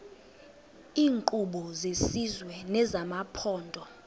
iinkqubo zesizwe nezamaphondo